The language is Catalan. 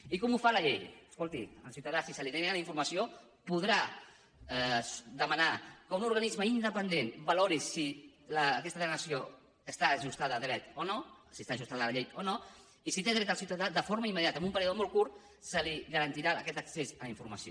i com ho fa la llei escolti el ciutadà si se li nega la informació podrà demanar que un organisme independent valori si aquesta denegació està ajustada a dret o no si està ajustada a la llei o no i si hi té dret el ciutadà de forma immediata en un període molt curt se li garantirà aquest accés a la informació